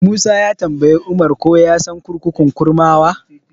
Musa ya tambayi Umar ko ya san kurkukun Kurmawa.